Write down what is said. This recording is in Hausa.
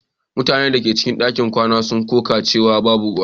Mutanen da ke cikin ɗakin kwana sun koka cewa babu ruwa.